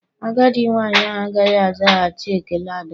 Agadi nwanyị ahụ agaghị azaghachi ekele Adam.